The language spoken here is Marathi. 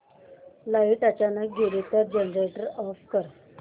लाइट अचानक गेली तर जनरेटर ऑफ कर